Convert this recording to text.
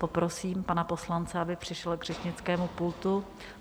Poprosím pana poslance, aby přišel k řečnickému pultu.